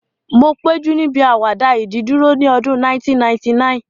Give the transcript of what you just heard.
Mo péjú níbi àwàdà ìdìdúró ní ọdún 1999